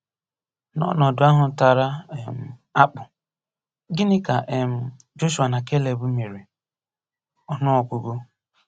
N'ọnọdụ ahụ tara um akpụ, gịnị ka um Jọshụa na Keleb mere? — Ọnụọgụgụ.